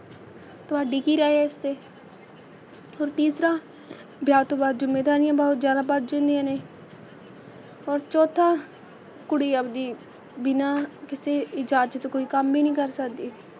ਤੁਹਾਡੀ ਕੀ ਰਾਏ ਹੈ ਇਸ 'ਤੇ ਹੋਰ ਤੀਸਰਾ ਵਿਆਹ ਤੋਂ ਬਾਅਦ ਜ਼ਿੰਮੇਦਾਰੀਆਂ ਬਹੁਤ ਜ਼ਿਆਦਾ ਵੱਧ ਜਾਂਦੀਆਂ ਨੇ, ਹੋਰ ਚੌਥਾ ਕੁੜੀ ਆਪਦੀ ਬਿਨਾ ਕਿਸੇ ਇਜ਼ਾਜਤ ਕੋਈ ਕੰਮ ਈ ਨਹੀਂ ਕਰ ਸਕਦੀ।